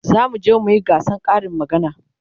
zamu je muyi gasan Karin magana